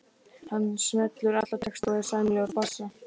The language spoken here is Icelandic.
Hann semur alla texta og er sæmilegur á bassa.